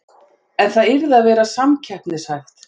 En það yrði að vera samkeppnishæft